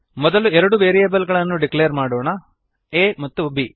ಮೊದಲು ಎರಡು ವೇರ್ರಿಯೇಬಲ್ ಗಳನ್ನು ಡಿಕ್ಲೇರ್ ಮಾಡೋಣ a ಮತ್ತು ಬ್